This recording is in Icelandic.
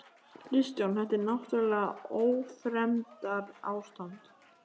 Kristján: Þetta er náttúrlega ófremdarástand?